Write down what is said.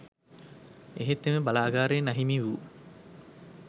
එහෙත් එම බලාගාරයෙන් අහිමි වූ